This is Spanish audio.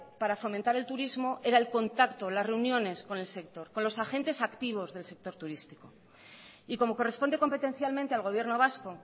para fomentar el turismo era el contacto las reuniones con el sector con los agentes activos del sector turístico y como corresponde competencialmente al gobierno vasco